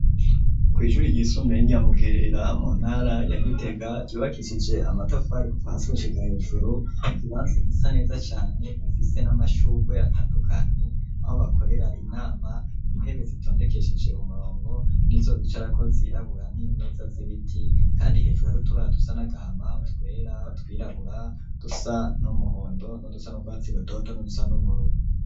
Ku shuri ry'isumbuye rya Mugera mu ntara ya Gitega ryubakishije amatafari kuva hasi gushika hejuru ikibanza gisa neza cane gifise n'amashurwe atandukanye aho bakorera inama intebe zitondekesheje umurongo nizo bicarako zirabura n'imeza zibiti kandi hejuru harutubara dusa n'agahama utwera utwirabura udusa n'umuhondo nudusa n'urwatsi rutoto nu dusa n'ubururu.